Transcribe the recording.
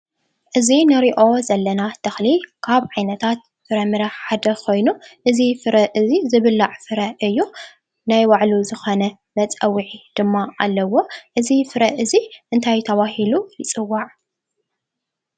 እዚ ንሪኦ ዘለና ተኽሊ ካብ ዓይነታት ፍረምረ ሓደ ኮይኑ እዚ ፍረ እዚ ዝብላዕ ፍረ እዩ፡፡ ናይ ባዕሉ ዝኾነ መፀውዒ ድማ ኣለዎ፡፡ እዚ ፍረ እዚ እንታይ ተባሂሉ ይፅዋዕ?